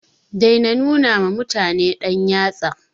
Dai na nuna mutum da yatsa